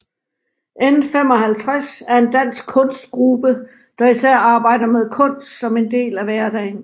N55 er en dansk kunstgruppe der især arbejder med kunst som en del af hverdagen